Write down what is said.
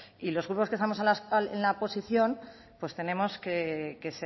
y los grupos que estamos en la oposición pues tenemos que